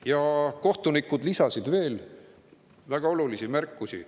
Ja kohtunikud lisasid veel väga olulisi märkusi.